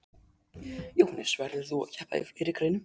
Jóhannes: Verður þú að keppa í fleiri greinum?